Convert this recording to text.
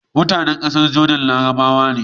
mutAnan ƙasar Jordan larabawa ne